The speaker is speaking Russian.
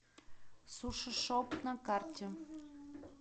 суши шоп на карте